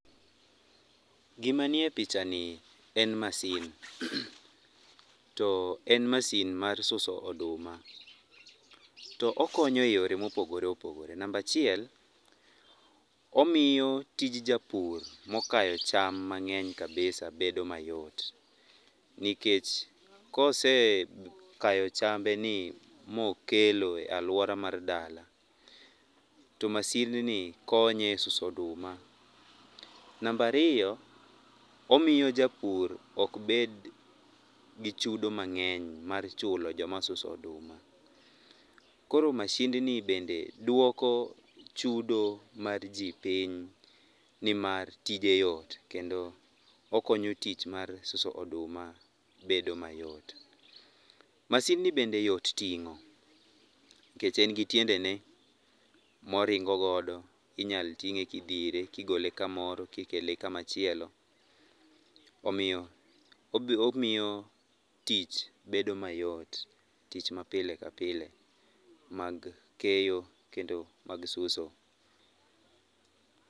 Gimanie pichani en masin. Too en masin mar suso oduma. To okonye eyore mopogore opogore. Namba achiel, omiyo tij japur mokayo cham mang'eny kabisa bedo mayot nikech kosekayo chambeni mokelo ee aluora mar dala, to masindni konye esuso oduma. Namba ariyo, omiyo japur ok bed gi chudo mang'eny mar chulo joma suso oduma. Koro mashindni bende duoko chudo mar ji piny nimar tije yot kendo okonyo tich mar suso oduma bedo mayot. Masindni bende yot ting'o nikech engi tiendene moringo godo inyal ting'e kidhire kigole kamoro kikel kama chielo. Omiyo ob omiyo tich bedo mayot. Tich mapile kapile mag keyo kendo mag suso.